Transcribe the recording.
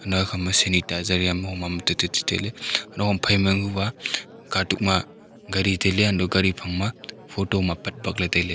naw khama sanitizer moma tu tatai tailey nohom phaima yanghu ba katuk ma ghare tailey untohley ghare phang ma photo ham apat bakley tailey